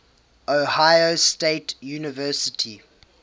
ohio state university